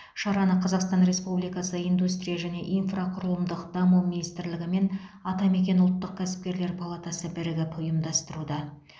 шараны қазақстан республикасы индустрия және инфрақұрылымдық даму министрлігі ме атамекен ұлттық кәсіпкерлер палатасы бірігіп ұйымдастыруда